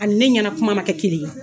A ni ne ɲɛnakuma ma kɛ kelen ye